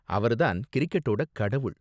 அவர் தான் 'கிரிக்கெட்டோட கடவுள்'.